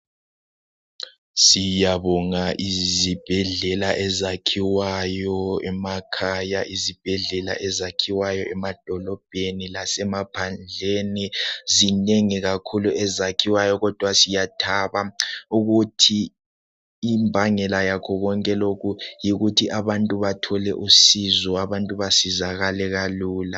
siyabonga izibhedlela ezakhiwayo emakhaya izibhedlela ezakhiwayo emadolobheni lasemaphandleni zinengi kakhulu ezakhiwayo kodwa siyathaba ukuthi imbangela yakho konke lokhu yikuthi abantu bathole usizo abantu basizakale kalula